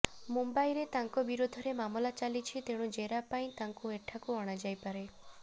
ମୁମ୍ବାଇରେ ତାଙ୍କ ବିରୋଧରେ ମାମଲା ଚାଲିଛି ତେଣୁ ଜେରା ପାଇଁ ତାଙ୍କୁ ଏଠାକୁ ଅଣାଯାଇପାରେ